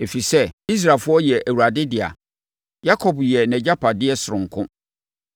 Ɛfiri sɛ, Israelfoɔ yɛ Awurade dea; Yakob yɛ nʼagyapadeɛ sononko.